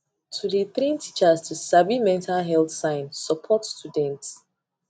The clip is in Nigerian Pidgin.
to dey train teachers to sabi mental health sign support students